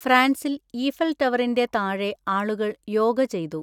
ഫ്രാൻസിൽ ഈഫൽ ടവറിൻ്റെ താഴെ ആളുകൾ യോഗ ചെയ്തു.